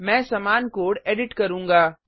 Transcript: मैं समान code edit करूँगा